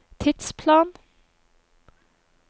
tidsplan